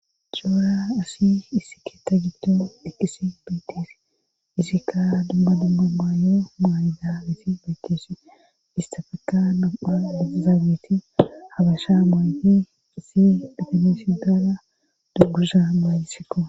Coora asi isi keta gitto dhekkisi beetef izikka dubba dummu maayo maayida isi beykkeeshi istafeka napha lezaabeti habasha maayi isi detimesidala duggusa maayisikko